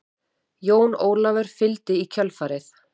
Jón Ólafur fylgdi í kjölfarið.